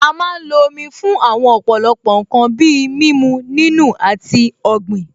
A má ń lo Omi fún àwọn ọ̀pọ̀lọpọ̀ ǹkan bíi mímu, nínù, àti ọ̀gbìn